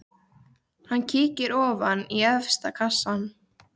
Hann kíkir ofan í efsta kassann.